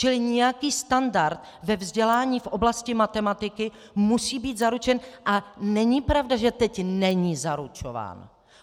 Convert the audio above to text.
Čili nějaký standard ve vzdělání v oblasti matematiky musí být zaručen a není pravda, že teď není zaručován.